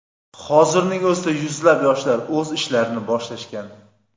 Hozirning o‘zida yuzlab yoshlar o‘z ishlarni boshlashgan.